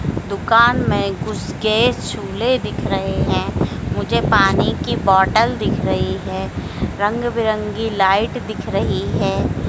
दुकान में घुस के झूले दिख रहे हैं मुझे पानी की बॉटल दिख रही है रंग बिरंगी लाइट दिख रही है।